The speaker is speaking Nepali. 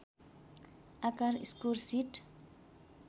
आकार स्कोर सिट